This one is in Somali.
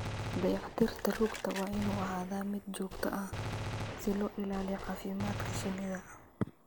Dayactirka rugta waa inuu ahaadaa mid joogto ah si loo ilaaliyo caafimaadka shinnida.